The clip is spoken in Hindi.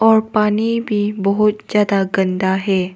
और पानी भी बहुत ज्यादा गंदा है।